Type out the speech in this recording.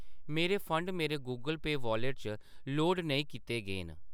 मेरे फंड मेरे Google pay wallet च लोड नेईं कीते गे न।